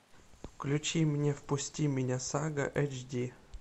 включи мне впусти меня сага эйч ди